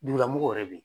Dugulamɔgɔw yɛrɛ bɛ yen